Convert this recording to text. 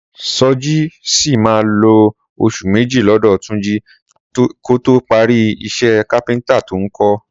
Sọjí sì máa lo oṣù méjì lọ́dọ̀ Túnjí kó tó parí iṣẹ́ kápẹ́ntà tó ń kọ́